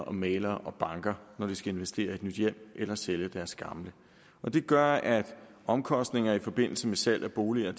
om mæglere og banker når de skal investere i et nyt hjem eller sælge deres gamle det gør at omkostninger i forbindelse med salg af boliger